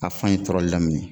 A fan ye tɔrɔli laminɛ